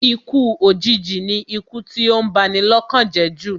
Ikú òjìji ni ikú tí ó ń ba ni lọ́kàn jẹ́ jù